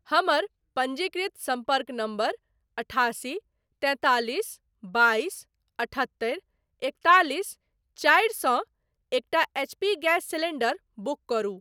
हमर पञ्जीकृत सम्पर्क नम्बर अठासी तैंतालिस बाइस अठहत्तरि एकतालिस चारि सँ एकटा एचपी गैस सिलींडर बुक करू।